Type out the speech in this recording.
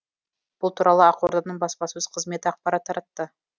бұл туралы ақорданың баспасөз қызметі ақпарат таратты